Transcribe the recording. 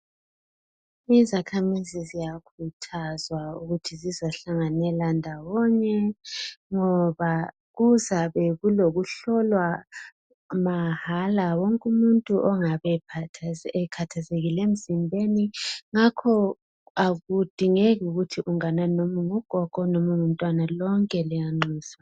Izakhamizi ziyakhuthazwa ukuthi zizohlanganela ndawonye ngoba kuzabe kulokuhlolwa mahala wonke umuntu ongabe ekhathazekile emzimbeni ngakho akudingeki ukuthi unganani noma ungugogo noma ungumntwana lonke liyanxuswa.